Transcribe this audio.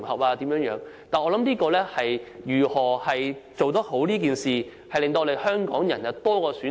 不過，我所想的是如何做好此事，讓香港人有更多選擇。